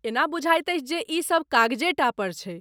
एना बुझाइत अछि जे ई सभ कागजेटा पर छै।